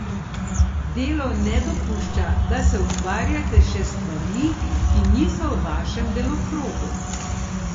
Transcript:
Delo ne dopušča, da se ukvarjate še s stvarmi, ki niso v vašem delokrogu.